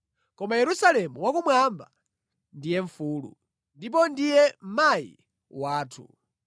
Koma Yerusalemu wakumwamba ndiye mfulu, ndipo ndiye mayi wathu.